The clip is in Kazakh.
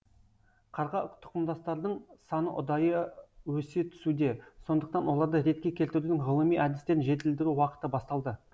қарға тұқымдастардың саны ұдайы өсе түсуде сондықтан оларды ретке келтірудің ғылыми әдістерін жетілдіру уақыты басталды